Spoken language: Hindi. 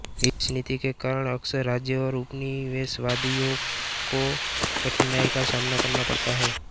इस नीति के कारण अक्सर राज्य और उपनिवेशवादियों को कठिनाई का सामना करना पड़ता था